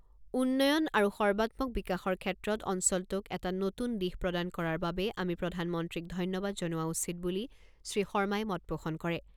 উন্নয়ন আৰু সৰ্বাত্মক বিকাশৰ ক্ষেত্ৰত অঞ্চলটোক এটা নতুন দিশ প্ৰদান কৰাৰ বাবে আমি প্ৰধানমন্ত্ৰীক ধন্যবাদ জনোৱা উচিত বুলি শ্ৰীশৰ্মাই মত পোষণ কৰে।